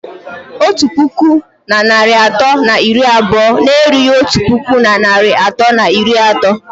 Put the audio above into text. Otu puku na narị atọ na iri abụọ na-erughị otu puku na narị atọ na iri atọ